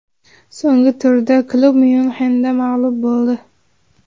So‘nggi turda klub Myunxenda mag‘lub bo‘ldi.